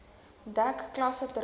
dek klasse terwyl